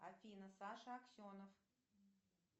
афина саша аксенов